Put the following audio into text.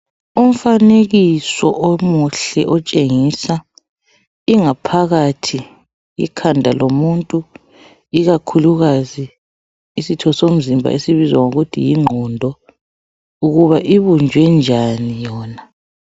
Umfanekiso omuhle otshengisa ingaphakathi ikhanda lomuntu, ikakhulukazi isitho somzimba esibizwa ngokuthi yinqondo ukuba ibunjwe njani yona.